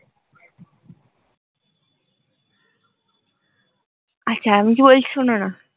আচ্ছা আমি কি বলছি শোনো না?